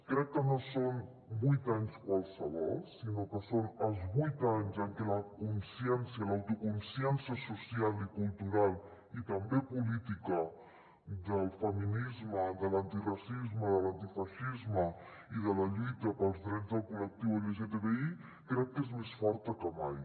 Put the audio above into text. crec que no són vuit anys qualsevol sinó que són els vuit anys en què la consciència l’autoconsciència social i cultural i també política del feminisme de l’antiracisme de l’antifeixisme i de la lluita pels drets del col·lectiu lgtbi crec que és més forta que mai